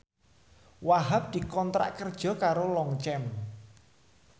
Wahhab dikontrak kerja karo Longchamp